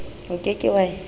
o ke ke wa e